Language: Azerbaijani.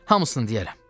Hamısını deyərəm.